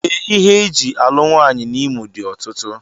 Ee, ihe e ji alụ nwaanyị n'Imo dị ọtụtụ